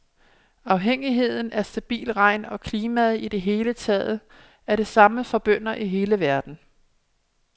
Afhængigheden af stabil regn og klimaet i det hele taget er det samme for bønder i hele verden.